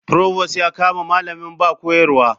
Provost ya kama malamin ba koyarwa.